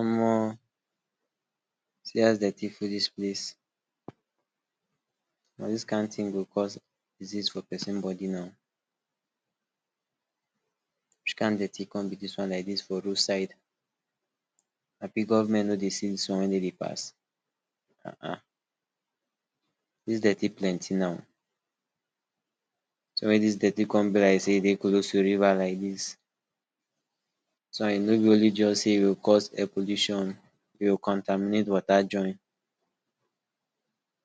omo see as dey dirty full dis place na dis kind thing dey cause disease for person body na which kind dirty come be dis one like dis for road side abi government nor dey see dis one when dem dey pass um dis dirty plenty na so all dis dirty come be like sey e dey close to river like dis dis one e nor go just only cause air pollution e go contaminated water join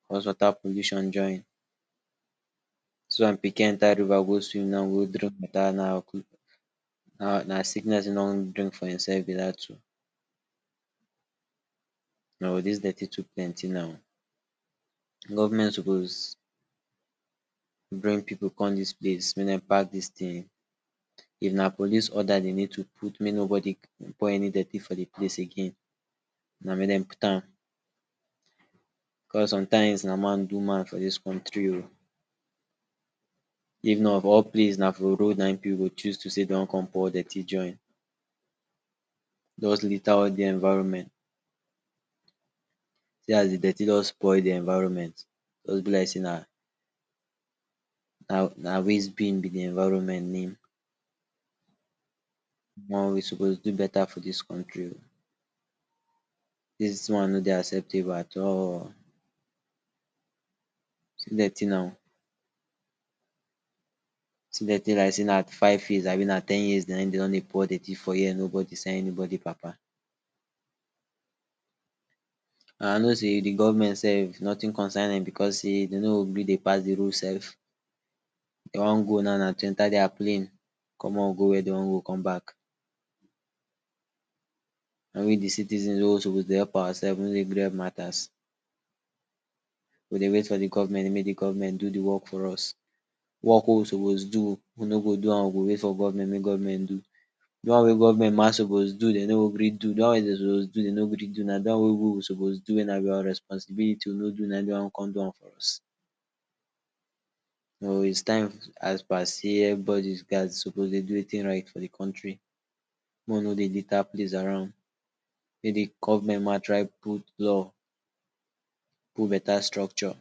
cause water pollution join dis one pikin enter river go swim e go drink water um na na sickness na e drink for him self be dat oh dis dirty too plenty na government suppose bring pipu come dis place say make dem pack dis thing if na police order we need to put make nobody pour any dirty for de place again na make dem put am because sometimes na man do man for dis country oh if not for all place na for road pipu go choose to sey dem wan come pour dirty join just liter all de environment see as de dirty just spoil de environment wey be like sey na, na waste bin be de environment na omo we suppose do better for dis country oh dis one nor de acceptable at all see dirty na see dirty like sey na like sey na five years abi na ten years dem don dey pour dirty here nobody send anybody papa I know sey de government self nothing concern dem because say dem nor even dey pass de road self if dem wan go now na to enter their plane commot go where dem wan go come back only de citizen wey suppose dey help our self we nor de gree help matters we dey wait for de government make de government do de work for us work wey we suppose do we nor go do am we dey wait for government make government do de one ma government suppose dem nor go gree do de wey dem suppose do dem nor gree do na de wey we suppose do na our responsibility na dem wan come do am for us. it is time as per say everybody gat suppose to do wetin right for de country make we no dey litter the place around nobody, make de government na try put law put better structure